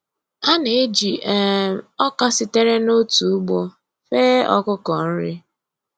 A na-eji um ọka sitere n’otu ugbo fee ọkụkọ nri.